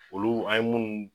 Olu a ye